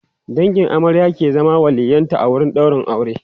dangin amarya ke zama waliyyin ta a wurin ɗaurin aure